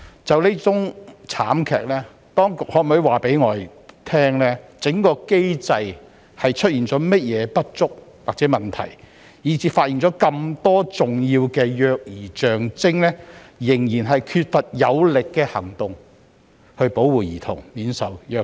就這宗慘劇，當局可否告訴我們，相關機制有何不足或問題，以致即使有人發現這麼多重要的虐兒跡象，但仍然缺乏有力行動來保護兒童免受虐待？